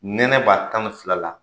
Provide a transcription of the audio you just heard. Nɛnɛ b'a tan ni fila la